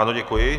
Ano, děkuji.